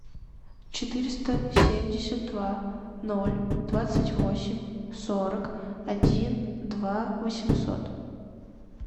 четыреста семьдесят два ноль двадцать восемь сорок один два восемьсот